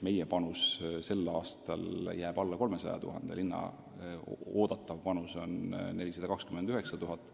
Meie panus sel aastal jääb alla 300 000 euro, linna oodatav panus on 429 000 eurot.